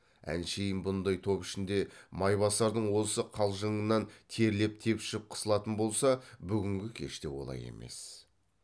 әншейін бұндай топ ішінде майбасардың осы қалжыңынан терлеп тепшіп қысылатын болса бүгінгі кеште олай емес